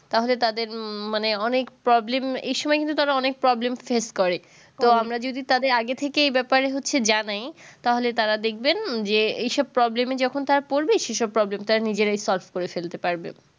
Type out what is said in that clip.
তাহলে তাদের মানে অনেক problem এই সময় কিন্তু তারা অনেক problem face করে তো আমরা যদি তাদের আগে থেকেই এই ব্যাপারে হচ্ছে জানায় তাহলে তারা দেখবেন যে এই সব problem এ যখন তারা পরবে সেই সব problem টা নিজেরাই solve করে ফেলতে পারবে